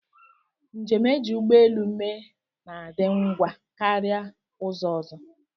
Njem e ji ụgbọelu mee na-adị ngwa karịa ụzọ ọzọ